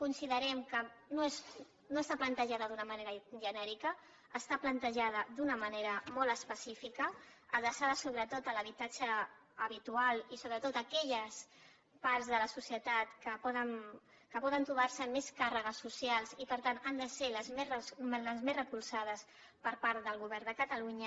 considerem que no està plantejada d’una manera genèrica està plantejada d’una manera molt específica adreçada sobretot a l’habitatge habitual i sobretot a aquelles parts de la societat que poden trobar se amb més càrregues socials i per tant han de ser les més recolzades per part del govern de catalunya